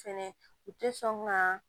Fɛnɛ u tɛ sɔn ka